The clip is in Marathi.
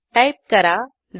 टाईप करा stat